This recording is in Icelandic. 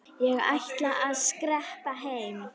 Ég ætla að skreppa heim.